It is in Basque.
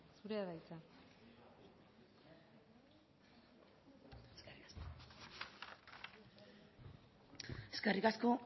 zurea da hitza eskerrik asko